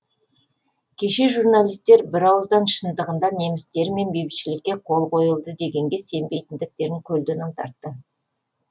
кеше журналистер бірауыздан шындығында немістермен бейбітшілікке қол қойылды дегенге сенбейтіндіктерін көлденең тартты